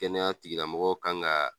Kɛnɛya tigiramɔgɔw kan ga